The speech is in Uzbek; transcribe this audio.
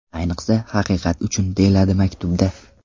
Ayniqsa, Haqiqat uchun!”, deyiladi maktubda.